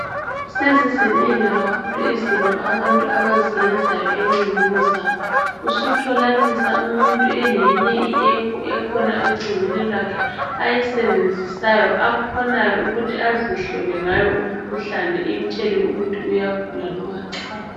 Sezizinengi kakhulu izinto abantu abazeyenza encingweni zabo, usutholanisa umuntu eleyinye iapp ekhona ecingweni lwakhe ayisebenzisayo akhonayo ukuthi azihlole ngayo umkhuhlane imtshele ukuthi uyagula noma cha!